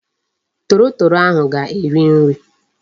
Torotoro ahu ga-eri nri